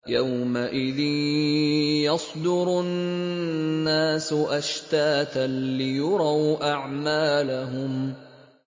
يَوْمَئِذٍ يَصْدُرُ النَّاسُ أَشْتَاتًا لِّيُرَوْا أَعْمَالَهُمْ